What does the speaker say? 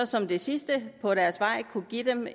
som det sidste på deres vej kunne give dem